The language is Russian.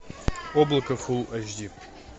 облако фул эйч ди